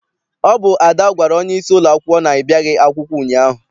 Ọ bụ Ada gwara onyeisi ụlọakwụkwọ na I biaghị akwụkwọ ụnyaahụ.